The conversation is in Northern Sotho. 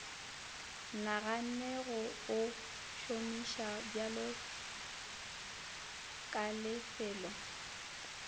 naganne go o šomišabjalo kalefelo